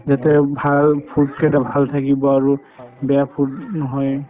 যে তেওঁ ভাল food কেইটা ভাল থাকিব আৰু বেয়া food নহয়ে